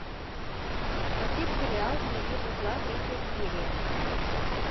смотреть сериал не вижу зла третья серия